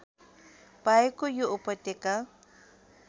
पाएको यो उपत्यका